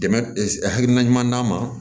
Dɛmɛ hakilina ɲuman d'a ma